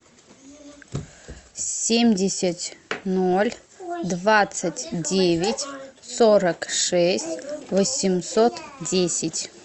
семьдесят ноль двадцать девять сорок шесть восемьсот десять